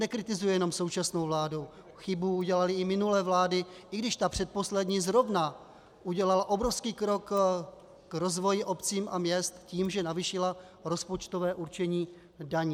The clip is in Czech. Nekritizuji jenom současnou vládu, chybu udělaly i minulé vlády, i když ta předposlední zrovna udělala obrovský krok k rozvoji obcí a měst tím, že navýšila rozpočtové určení daní.